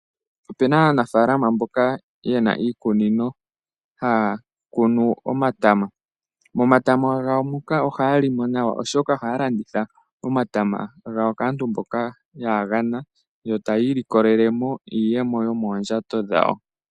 Opena aanafalama mboka yena iikunino haya kunu omatama. Momatama gawo moka ohaya limo nawa oshoka ohaya landitha omatama gawo kaantu mboka yaa gana ,yo tayi ilikolele mo iiyemo yomoondjato dhawo.